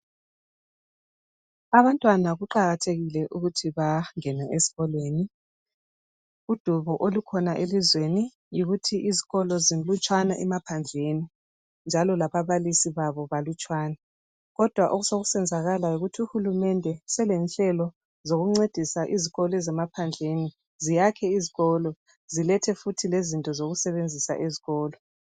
Abantwana kuqakathekile ukuthi bangene esikolweni udubo olukhona elizweni yikuthi izikolo zilutshwane emaphandleni njalo lababalisi babo balutswane kodwa okusenzakala yikuthi uhulumende selenhlelo zokuncedisa izikolo ezemaphandleni ziyakhe izikolo zilethe futhi lezinto zokusebenzisa ezikolo.